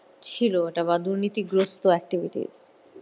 ছিল এটা বা দুর্নীতিগ্রস্ত activities